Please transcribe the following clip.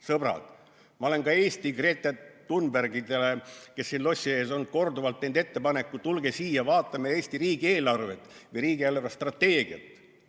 Sõbrad, ma olen ka Eesti Greta Thunbergidele, kes siin lossi ees on, korduvalt teinud ettepaneku: tulge siia, vaatame Eesti riigieelarvet või riigi eelarvestrateegiat!